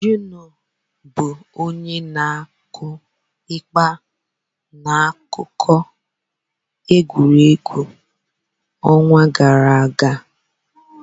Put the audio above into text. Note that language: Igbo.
Juniọ bụ onye na-akụ ịgba n'akụkọ egwuregwu ọnwa gara aga?